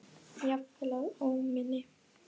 Jafnvel að óminni.